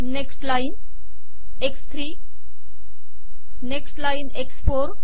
next line एक्स3 next line एक्स4